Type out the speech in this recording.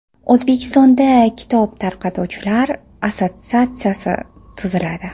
O‘zbekistonda kitob tarqatuvchilar assotsiatsiyasi tuziladi.